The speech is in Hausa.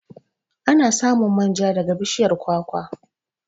Ana samun manja daga bishiyar kwakwa.